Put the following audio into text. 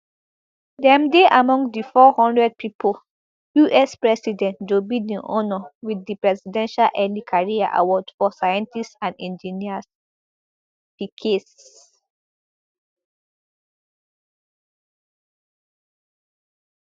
dem dey among di four hundred pipo us president joe biden honour wit di presidential early career award for scientists and engineers pecase